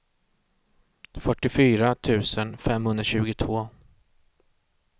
fyrtiofyra tusen femhundratjugotvå